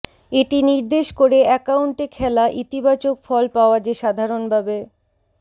এটি নির্দেশ করে অ্যাকাউন্টে খেলা ইতিবাচক ফল পাওয়া যে সাধারণভাবে